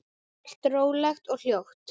Allt rólegt og hljótt.